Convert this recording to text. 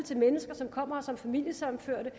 til mennesker som kommer her som familiesammenførte